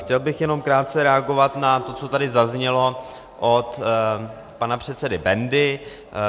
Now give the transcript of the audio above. Chtěl bych jenom krátce reagovat na to, co tady zaznělo od pana předsedy Bendy.